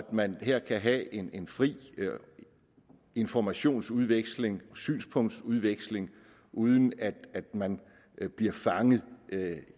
at man her kan have en en fri informationsudveksling synspunktsudveksling uden at man bliver fanget